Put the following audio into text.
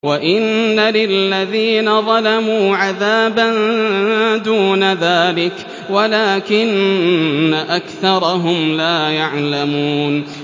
وَإِنَّ لِلَّذِينَ ظَلَمُوا عَذَابًا دُونَ ذَٰلِكَ وَلَٰكِنَّ أَكْثَرَهُمْ لَا يَعْلَمُونَ